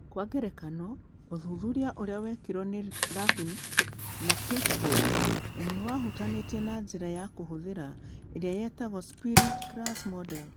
Kwa ngerekano, ũthuthuria ũrĩa wekirũo nĩ Lurvink na Pitchford nĩ wahutanĩtie na njĩra ya kũhũthĩra ĩrĩa yetagwo 'Split Class Model' .